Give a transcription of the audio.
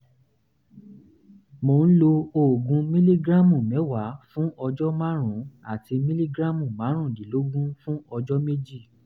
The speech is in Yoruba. mò ń lo oògùn mìlígíráàmù mẹ́wàá fún ọjọ́ márùn-ún àti mìlígíráàmù márùndínlógún fún ọjọ́ méjì